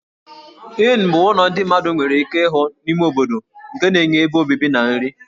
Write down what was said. Inn ụlọ ndị mmadụ nwere ike ịhụ n'ime obodo nke na-enye ebe obibi na nri.